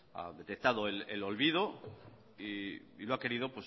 ha detectado el olvido y lo ha querido